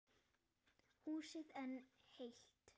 Húsið enn heilt.